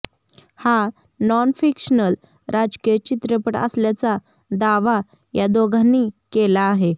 हा non fictional राजकीय चित्रपट असल्याचा दावा या दोघांनी केला आहे